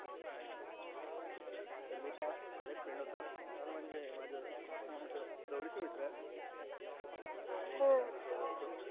तर मी त्या याच्या सोबत केलं होत अंग म्हणजे माझे जवळ चे माझे मित्र येत हम्म